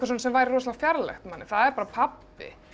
sem væri fjarlægt manni það er bara pabbi